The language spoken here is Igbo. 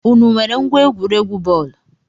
Ụnụ nwèrè ngwa egwuregwu bọọlu?